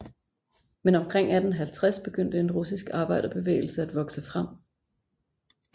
Men omkring 1850 begyndte en russisk arbejderbevægelse at vokse frem